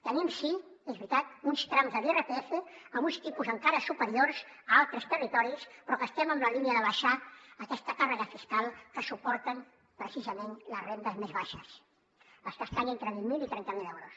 tenim sí és veritat uns trams de l’irpf amb uns tipus encara superiors a altres territoris però estem en la línia d’abaixar aquesta càrrega fiscal que suporten precisament les rendes més baixes les que estan entre vint miler i trenta miler euros